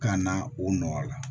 Ka na o nɔ la